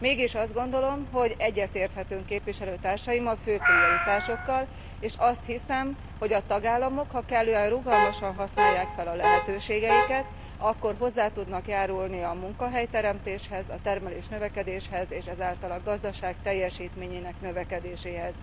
Mégis azt gondolom, hogy képviselőtársaimmal egyetérthetünk a fő prioritásokkal, és azt hiszem, hogy a tagállamok, ha kellően rugalmasan használják fel a lehetőségeiket, akkor hozzá tudnak járulni a munkahelyteremtéshez, a termelésnövekedéshez és ezáltal a gazdaság teljesítményének növekedéséhez.